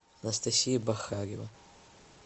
анастасия бахарева